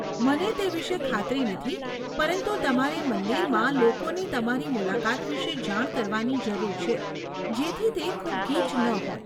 મને તે વિશે ખાતરી નથી પરંતુ તમારે મંદિરમાં લોકોને તમારી મુલાકાત વિશે જાણ કરવાની જરૂર છે જેથી તે ખૂબ ગીચ ન હોય.